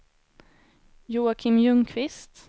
Joakim Ljungqvist